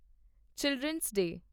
children's ਡੇ